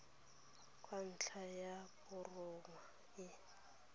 kwa ntlong ya borongwa e